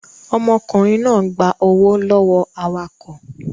Ọmọkùnrin náà gba owó lọ́wọ́ awakọ̀